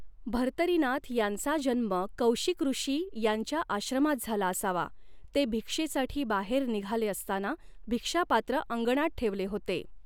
भर्तरीनाथ यांचा जन्म कौशिकऋषी यांच्या आश्रमात झाला असावा ते भिक्षेसाठी बाहेर निघाले असताना भिक्षापात्र अंगणात ठेवले होते.